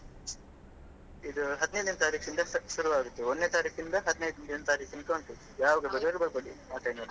ಇದು ಹದಿನೈದನೇ ತಾರೀಕಿನಿಂದ ಶು~ ಶುರು ಆಗ್ತದೆ ಒಂದನೇ ತಾರೀಕಿನಿಂದ ಹದಿನೈದನೇ ತಾರೀಕು ತನಕ ಉಂಟು ಯಾವಾಗ ಬೇಕಾದ್ರೂ ಬರ್ಬೋದು ಆ time ಅಲ್ಲಿ.